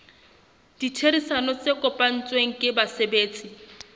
ditherisano tse kopanetsweng ke basebetsi